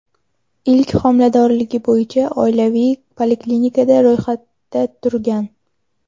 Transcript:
ilk homiladorligi bo‘yicha oilaviy poliklinikada ro‘yxatda turgan.